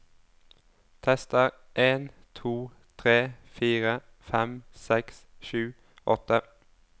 Tester en to tre fire fem seks sju åtte